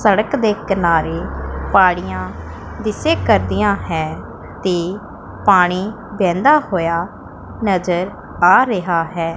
ਸੜਕ ਦੇ ਕਿਨਾਰੇ ਪਾੜੀਆਂ ਦੀਸੇ ਕਰਦੀਆਂ ਹੈ ਤੇ ਪਾਣੀ ਵਹਿੰਦਾ ਹੋਇਆ ਨਜ਼ਰ ਆ ਰਿਹਾ ਹੈ।